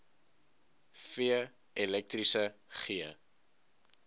f elektriese g